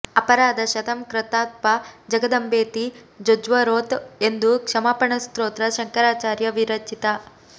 ಅಪರಾಧ ಶತಂ ಕೃತ್ಪಾ ಜಗದಂಬೇತಿ ಜೊಜ್ವರೋತ್ ಎಂದು ಕ್ಷಮಾಪಣ ಸ್ತೋತ್ರ ಶಂಕರಾಚಾರ್ಯ ವಿರಚಿತ